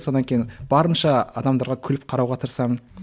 сонан кейін барынша адамдарға күліп қарауға тырысамын